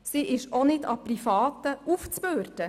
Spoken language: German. Sie ist auch nicht Privaten aufzubürden.